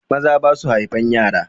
Maza basu haifan yara.